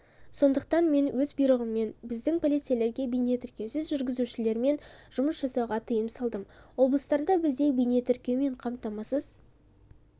сондықтан мен өз бұйрығыммен біздің полицейлерге бейнетіркеусіз жүргізушілермен жұмыс жасауға тыйым салдым облыстарда бізде бейнетіркеумен қамтамасыз